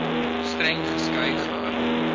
streng geskei gehou